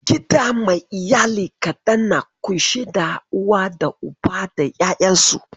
Gida mai iyalai kaɗan na ƙunshe da uwa da Uba da 'yayansu.